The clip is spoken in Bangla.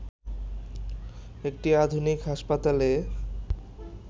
একটি আধুনিক হাসপাতালে